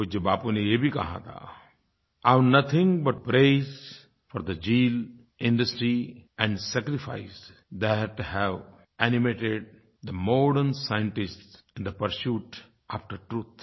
पूज्य बापू ने ये भी कहा था I have nothing but praise for the zeal industry and sacrifice that have animated the modern scientists in the pursuit after truth